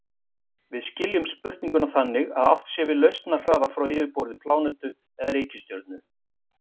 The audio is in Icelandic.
Við skiljum spurninguna þannig að átt sé við lausnarhraða frá yfirborði plánetu eða reikistjörnu.